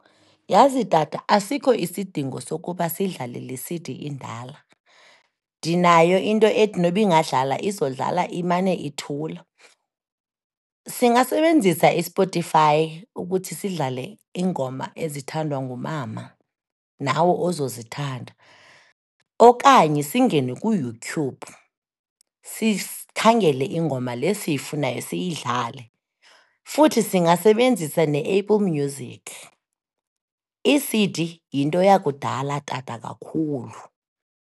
Yhazi tata, asikho isidingo sokuba sidlale le C_D indala, ndinayo into ethi nokuba ingadlala, izodlala imane ithula. Singasebenzisa iSpotify ukuthi sidlale iingoma ezithandwa ngumama, nawe ozozithanda, okanye singene kuYouTube sikhangele ingoma le siyifunayo, siyidlale. Futhi singasebenzisa neApple Music. Ii-C_D, yinto yakudala, tata, kakhulu.